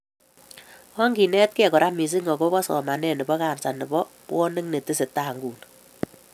Onginetekei kora missing akobo somanet bo kansa nebo bwonik netesetai inguni